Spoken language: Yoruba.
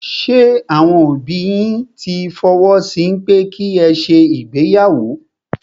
Ṣé àwọn òbí yín tí fọwọ́ sí pẹ́ ki ẹ ṣe ìgbéyàwó?